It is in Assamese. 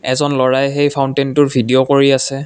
এজন ল'ৰাই সেই ফাওন্টেইনটোৰ ভিডিঅ' কৰি আছে।